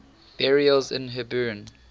burials in hebron